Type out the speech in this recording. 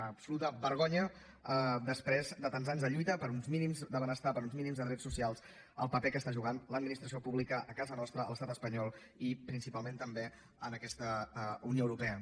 una absoluta vergonya després de tants anys de lluita per uns mínims de benestar per uns mínims de drets socials el paper que està jugant l’administració pública a casa nostra a l’estat espanyol i principalment també en aquesta unió europea